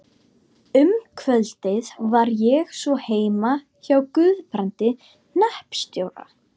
Um kvöldið var ég svo heima hjá Guðbrandi hreppstjóra.